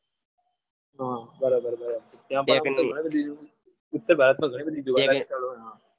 હા બરાબર છ ઉત્તર ભારતમાં ઘણી બધી જોવાલાયક સ્થળો છે.